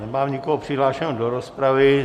Nemám nikoho přihlášeného do rozpravy.